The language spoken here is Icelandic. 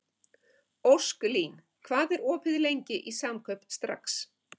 Ósklín, hvað er opið lengi í Samkaup Strax?